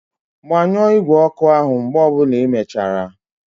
Gbanyụọ igwe ọkụ áhụ̀ mgbe ọ bụla ịmechara!